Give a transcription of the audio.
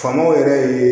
Faamaw yɛrɛ ye